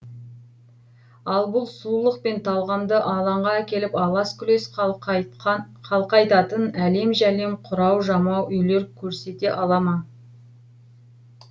ал бұл сұлулық пен талғамды алаңға әкеліп алас күлес қалқайтатын әлем жәлем құрау жамау үйлер көрсете ала ма